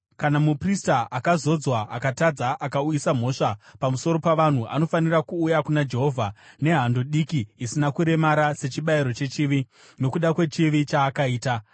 kana muprista akazodzwa, akatadza akauyisa mhosva pamusoro pavanhu, anofanira kuuya kuna Jehovha nehando diki isina kuremara sechibayiro chechivi, nokuda kwechivi chaakaita.